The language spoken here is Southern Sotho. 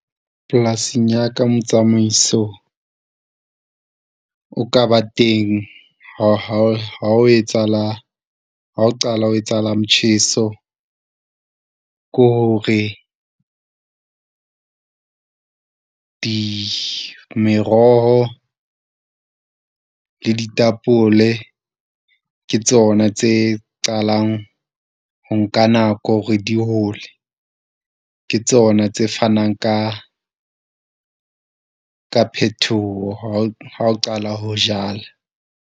Polasing ya ka, motsamaiso o ka ba teng ha ho etsahala ha o qala ho etsahala. Motjheso ko hore di meroho le ditapole ke tsona tse qalang ho. Nka nako hore di hole ke tsona tse fanang ka, ka phetoho ha o qala ho jala.